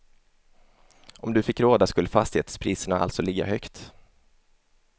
Om du fick råda skulle fastighetspriserna alltså ligga högt.